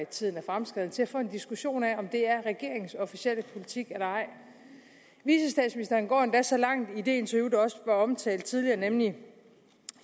tiden er fremskreden til at få en diskussion af om det er regeringens officielle politik eller ej vicestatsministeren går endda så langt i det interview der også er omtalt tidligere nemlig